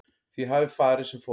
Því hafi farið sem fór